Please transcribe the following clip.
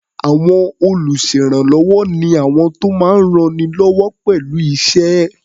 À̀wọn olùṣèrànwọ́ ni àwọn tó máa ń rannilọ́wọ́ pẹ̀lú iṣẹ́.